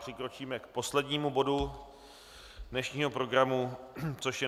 Přikročíme k poslednímu bodu dnešního programu, což je